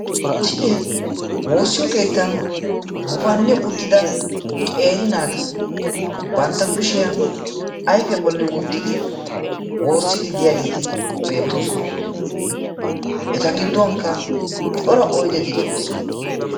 misilee woossiyo keettan gufanni uttida qeeri naati bantta kushiya ayfiya bolli wottidi woossiiddi diyageeti beettoosona. eta gidduwankka cora oyideti de'oosona.